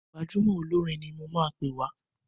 Gbajúmọ̀ olórin ni mo máa pè wá.